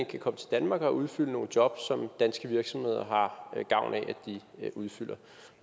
kan komme til danmark og udfylde nogle jobs som danske virksomheder har gavn af at de udfylder